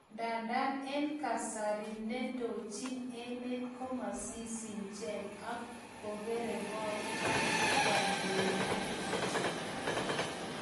Ndadan eng kasari ,ndendoji emet komasisicheng ak kokerang kon angandoidet kityo.